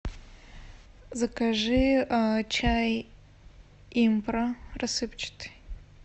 закажи чай импра рассыпчатый